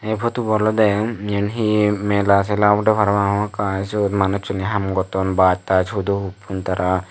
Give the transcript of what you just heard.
ey potubo olode yen hi mela sela obode parapang hamakkai sot manussune haam gotton baj taj hudo huppon tara.